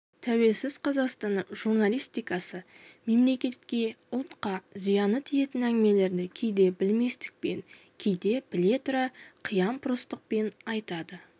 тәуелсіз қазақстанның журналистикасы мемлекетке ұлтқа зияны тиетін әңгімелерді кейде білместікпен кейде біле тұра қиямпұрыстықпен айтады